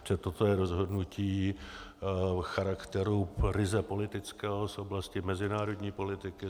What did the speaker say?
Protože toto je rozhodnutí charakteru ryze politického z oblasti mezinárodní politiky.